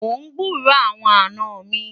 mon gburó àwọn àná mí